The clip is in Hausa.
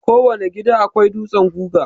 Kowane gida akwai dutsen guga.